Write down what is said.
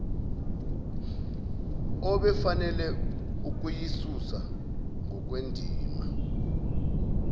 obefanele ukuyisusa ngokwendima